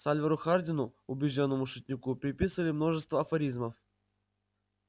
сальвору хардину убеждённому шутнику приписывали множество афоризмов